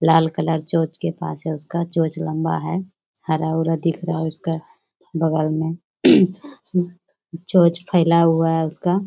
लाल colour चोंच के पास है उसका चोंच लंबा है हरा-उरा दिख रहा है उसका बगल में चोंच फैला हुआ है उसका --